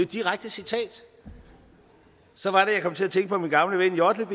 direkte citat så var det jeg kom til at tænke på min gamle ven jodle